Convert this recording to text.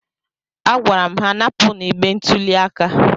Agwara m ha, napụnụ igbe ntụli aka